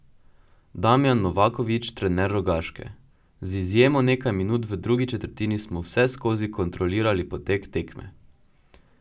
Damjan Novaković, trener Rogaške: 'Z izjemo nekaj minut v drugi četrtini smo vseskozi kontrolirali potek tekme.